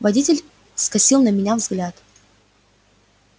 водитель скосил на меня взгляд